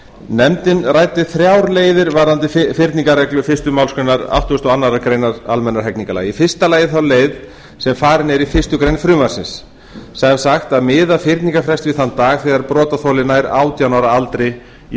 nefndin ræddi þrjár leiðir varðandi fyrningarreglu fyrstu málsgreinar áttugustu og aðra grein almennra hegningarlaga í fyrsta lagi þá leið sem farin er í fyrstu grein frumvarpsins að miða fyrningarfrest við þann dag þegar brotaþoli nær átján ára aldri í